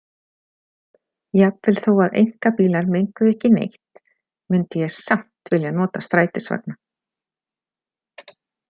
Jafnvel þó að einkabílar menguðu ekki neitt mundi ég samt vilja nota strætisvagna.